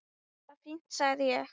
Bara fínt sagði ég.